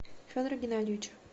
федора геннадьевича